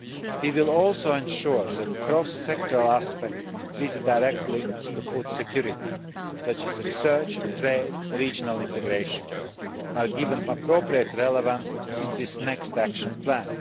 We will also ensure that cross sectoral aspects with direct links to food security, such as research, trade and regional integration, are given appropriate relevance in this next action plan.